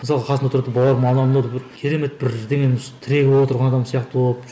мысалға қасында отырады да бауырым анау мынау деп бір керемет бірдеңенің осы тірегі болып отырған адам сияқты болып